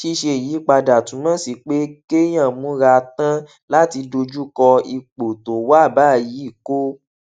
ṣíṣe ìyípadà túmò sí pé kéèyàn múra tán láti dojú kọ ipò tó wà báyìí kó